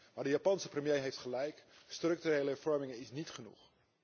Maar de Japanse premier heeft gelijk structurele hervormingen zijn niet genoeg.